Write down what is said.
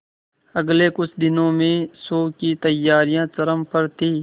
अगले कुछ दिनों में शो की तैयारियां चरम पर थी